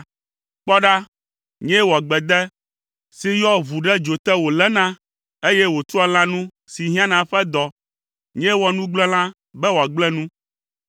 “Kpɔ ɖa, nyee wɔ gbede si yɔa ʋu ɖe dzo te wòléna, eye wòtua lãnu si hiã na eƒe dɔ. Nyee wɔ nugblẽla be wòagblẽ nu;